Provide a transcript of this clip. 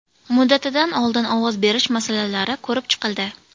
Muddatidan oldin ovoz berish masalalari ko‘rib chiqildi.